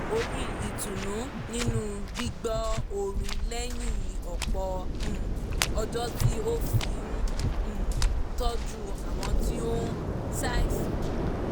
ó rí ìtùnú nínú gbígbọ́ orin lẹ́yìn ọ̀pọ̀ um ọjọ́ tí ó fi ń um tọ́jú àwọn tí ó ń ṣàìsàn